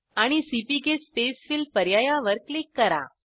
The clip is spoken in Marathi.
आणि सीपीके स्पेसफिल पर्यायावर क्लिक करा